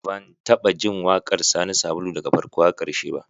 Ban taɓa jin waƙar Sani Sabulu daga farko har ƙarshe ba